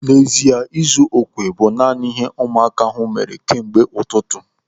N'ezie, ịzu okwe bụ naanị ihe ụmụaka ahụ mere kemgbe ụtụtụ.